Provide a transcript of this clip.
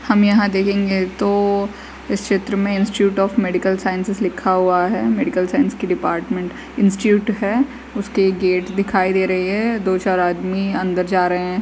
हम यहाँ देखंगे तो इस चित्र में इंस्टिट्यूट ऑफ़ मेडिकल साइंस लिखा हुआ है। मेडिकल साइंस की डिपार्टमेंट इंस्टिट्यूट है उसके गेट्स दिखाई दे रहे हैं। दो चार आदमी अन्दर जा रहे हैं।